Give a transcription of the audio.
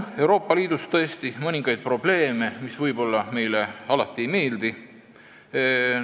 Euroopa Liidus on tõesti mõningaid probleeme, mis meile ei meeldi.